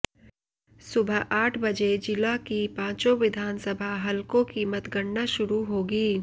सुबह आठ बजे जिला के पांचों विधानसभा हलकों की मतगणना शुरू होगी